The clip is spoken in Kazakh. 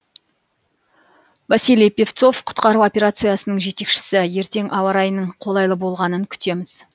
василий пивцов құтқару операциясының жетекшісі ертең ауа райының қолайлы болғанын күтеміз